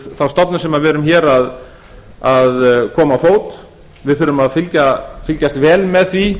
þá stofnun á við erum hér að koma á fót við þurfum að fylgjast vel með því